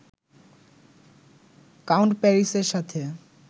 count প্যারিসের সাথে